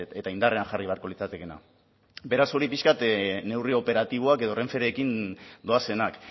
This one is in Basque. eta indarrean jarri beharko litzatekeena beraz hori pixka bat neurri operatiboak edo renferekin doazenak